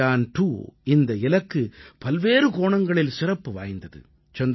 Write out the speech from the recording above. சந்திரயான் 2 இந்த இலக்கு பல்வேறு கோணங்களில் சிறப்பு வாய்ந்தது